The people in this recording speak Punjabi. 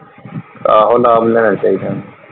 ਆਹੋ ਲਾਭ ਲੈਣਾ ਚਾਹੀਦਾ।